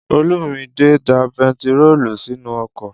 Olúmidè da bentiróòlù sínú ọkọ̀